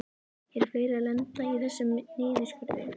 Eru fleiri að lenda í þessum niðurskurði?